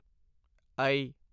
ਆਈ